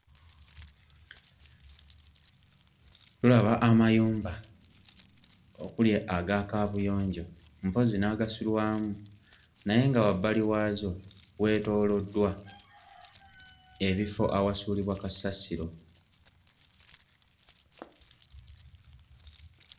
Tulaba amayumba okuli aga kaabuyonjo mpozzi n'agasulwamu naye nga wabbali waazo weetooloddwa ebifo awasuulibwa kasasiro.